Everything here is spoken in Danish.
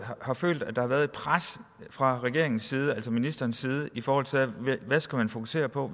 har følt at der har været et pres fra regeringens side fra ministerens side i forhold til hvad man skal fokusere på